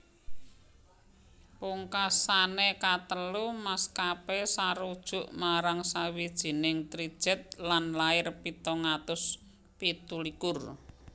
Pungkasané katelu maskapé sarujuk marang sawijining trijet lan lair pitung atus pitu likur